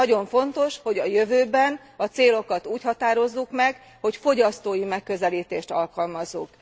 Nagyon fontos, hogy a jövőben a célokat úgy határozzuk meg, hogy fogyasztói megközelítést alkalmazzunk.